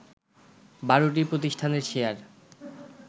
১২টি প্রতিষ্ঠানের শেয়ার